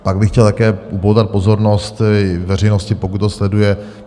Pak bych chtěl také upoutat pozornost veřejnosti, pokud to sleduje.